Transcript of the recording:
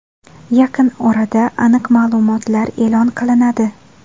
Yaqin orada aniq ma’lumotlar e’lon qilinadi.